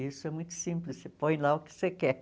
Isso é muito simples, você põe lá o que você quer.